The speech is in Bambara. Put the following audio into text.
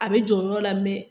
A be jɔ yɔrɔo la mɛ